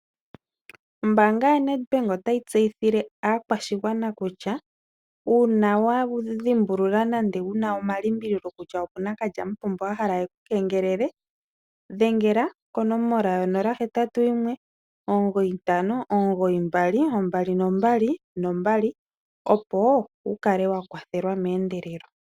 Ombaanga yaNedbank otayi tseyithile aakwashigwana kutya uuna wa dhimbulula nenge wu na omalimbililo kutya opu na kalyamupombo a hala e ku kengelele dhengela konomola yo081 95922222, opo wu kale wa kwathelwa meendelelo.